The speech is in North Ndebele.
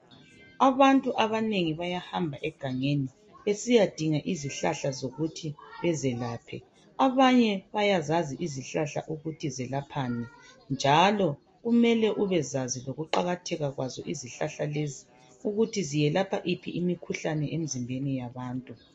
Abantu abanengi bayahamba egangeni besiyadinga izihlahla zokuthi bezelaphe abanye bayazazi izihlahla ukuthi zelaphani njalo kumele ubezazi lokuqakatheka kwazo izihlahla lezi ukuthi ziyelapha yiphi imikhuhlane emzimbeni yabantu.